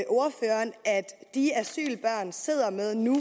de asylbørn sidder med nu